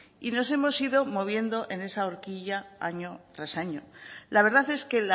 y nos hemos ido moviendo en esa horquilla año tras año la verdad es que